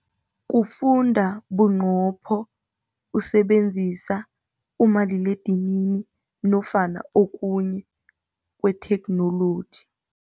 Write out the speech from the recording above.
Kufunda bunqopho usebenzisa umaliledinini nofana okunye kwetheknoloji.